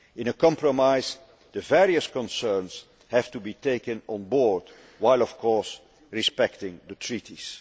In a compromise the various concerns have to be taken on board, while of course respecting the treaties.